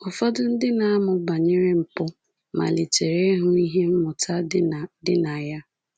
Ụfọdụ ndị na-amụ banyere mpụ malitere ịhụ ihe mmụta dị na dị na ya.